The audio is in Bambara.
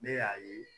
Ne y'a ye